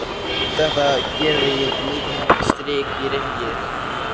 Þetta gerði mikið strik í reikninginn.